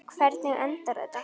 Hvernig endar þetta?